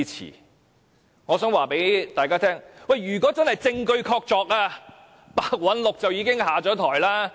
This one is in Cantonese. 可是，我想告訴大家，如果真的證據確鑿，白韞六已經下台。